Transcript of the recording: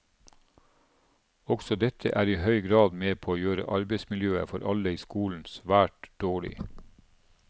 Også dette er i høy grad med på å gjøre arbeidsmiljøet for alle i skolen svært dårlig.